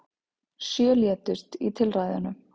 Sjö létust í tilræðunum